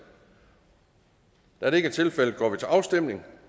da det ikke er tilfældet går vi til afstemning